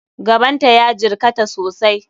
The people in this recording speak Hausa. Gaban ta ya jirkata sosai.